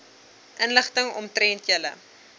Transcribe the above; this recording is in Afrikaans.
inligting omtrent julle